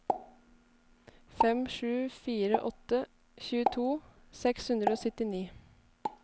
fem sju fire åtte tjueto seks hundre og syttini